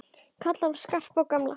Kalla hann Skarpa og gamla!